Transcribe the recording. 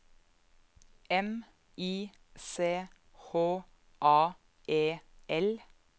M I C H A E L